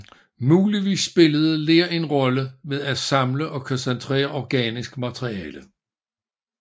Muligvis spillede ler en rolle ved at samle og koncentrere organisk materiale